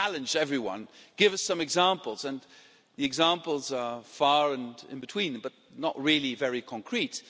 We've challenged everyone to give us some examples, and the examples are few and far between, but not really very concrete.